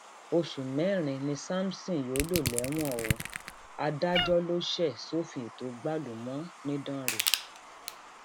oṣù mẹrin ni samson yóò lò lẹwọn o adájọ ló ṣe sọfín ètò gbálùúmọ nìdánrẹ